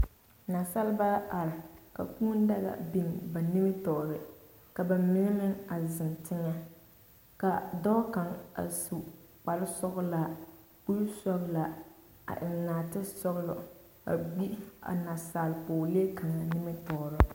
Nasaaleba are ka kũũ daga biŋ ba nimitɔɔre, ka ba mine meŋ a zeŋ teŋɛ, ka dɔɔ kaŋ a su kpare sɔgelaa, kuri sɔgelaa a eŋ naate sɔgelɔ a gbi a nasaale pɔgelee kaŋa nimtɔɔreŋ.